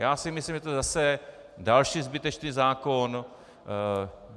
Já si myslím, že to je zase další zbytečný zákon.